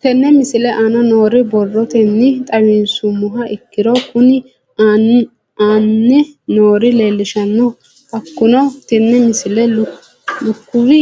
Tenne misile aana noore borrotenni xawisummoha ikirro kunni aane noore leelishano. Hakunno tinni misile lukkuwi